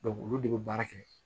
olu de bɛ baara kɛ